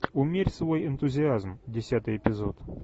умерь свой энтузиазм десятый эпизод